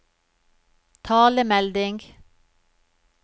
talemelding